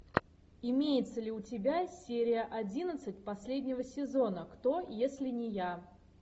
имеется ли у тебя серия одиннадцать последнего сезона кто если не я